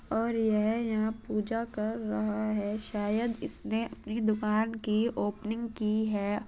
और ये यहाँ पूजा कर रहा है शायद इसने अपने दुकान की ओपनिंग की है।